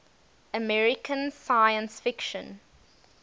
american science fiction